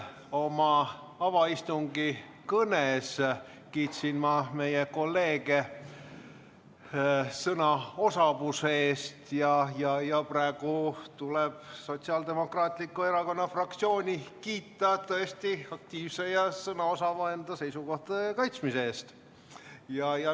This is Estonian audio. Oma avaistungi kõnes kiitsin ma meie kolleege sõnaosavuse eest ja praegu tuleb Sotsiaaldemokraatliku Erakonna fraktsiooni kiita seisukohtade aktiivse ja sõnaosava kaitsmise eest.